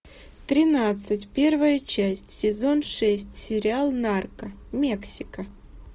тринадцать первая часть сезон шесть сериал нарко мексика